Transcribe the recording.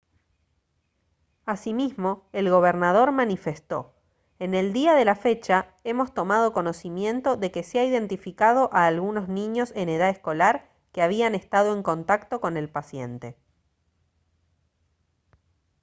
asimismo el gobernador manifestó: «en el día de la fecha hemos tomado conocimiento de que se ha identificado a algunos niños en edad escolar que habían estado en contacto con el paciente»